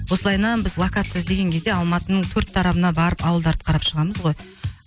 осылайынан біз локация іздеген кезде алматының төрт тарабына барып ауылдарды қарап шығамыз ғой